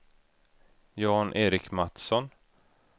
Jan-Erik Mattsson